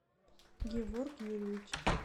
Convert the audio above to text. геворг юрьевич